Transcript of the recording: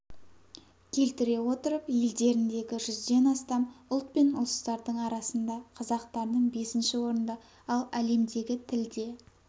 келтіре отырып елдеріндегі жүзден астам ұлт пен ұлыстардың арасында қазақтардың бесінші орында ал әлемдегі тілде